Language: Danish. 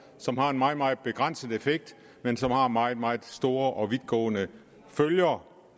som har en meget meget begrænset effekt men som har meget meget store og vidtgående følger